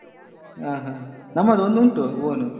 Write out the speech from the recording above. ಹ ಹಾ ನಮ್ಮದೊಂದುಂಟು own .